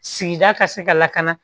Sigida ka se ka lakana